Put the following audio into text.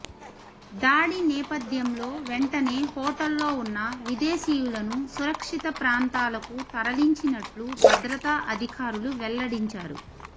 దాడి నేపథ్యంలో వెంటనే హోటల్లో ఉన్న విదేశీయులను సురక్షిత ప్రాంతాలకు తరలించినట్లు భద్రతా అధికారులు వెల్లడించారు